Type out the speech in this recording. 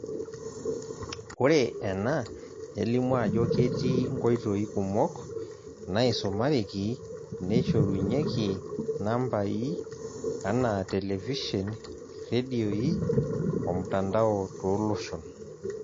Ore ena nelimu ajo ketii nkoitoi kumok naaisumareki neishorunyeki nambaai, ana televishen, irredioi omtandao tooloshon.